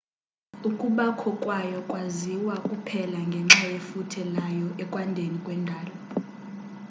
ukubakho kwayo kwaziwa kuphela ngenxa yefuthe layo ekwandeni kwendalo